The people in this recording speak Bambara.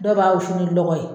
Dɔw b'a wusu ni lɔgɔ ye